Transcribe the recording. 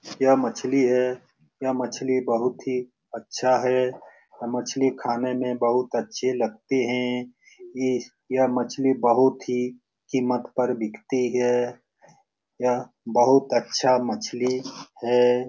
यह मछली है। यह मछली बहुत ही अच्छा है। यह मछली खाने में बहुत अच्छी लगते हैं। ये यह मछली बहुत ही कीमत पर बिकती है। यह बहुत अच्छा मछली है।